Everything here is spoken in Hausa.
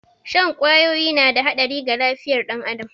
Shan kwawoyi na da haɗari ga lafiyar ɗan adam